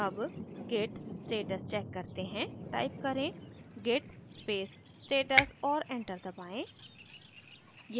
अब git status check करते हैं टाइप करें git space status और enter दबाएँ